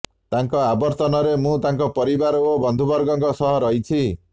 ତାଙ୍କ ଅବର୍ତ୍ତମାନରେ ମୁଁ ତାଙ୍କ ପରିବାର ଓ ବନ୍ଧୁବର୍ଗଙ୍କ ସହ ରହିଛି